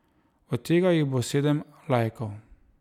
Od tega jih bo sedem laikov.